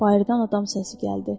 Bayırdan adam səsi gəldi.